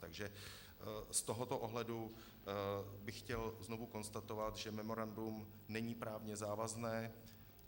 Takže z tohoto pohledu bych chtěl znovu konstatovat, že memorandum není právně závazné.